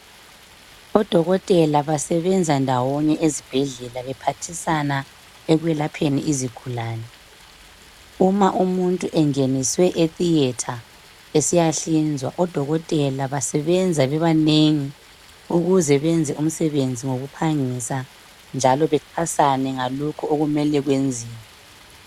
Odokotela basebenza ndawonye ezibhedlela bephathisana ekwelapheni izigulani uma umuntu engeniswe etheatre esiyahlinzwa odokotela basebenza bebanengi ukuze benze umsebenzi ngokuphangisa njalo bexhasane ngalokhu okumele kwenziwe.